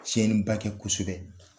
Tiɲɛniba kɛ kosɛbɛ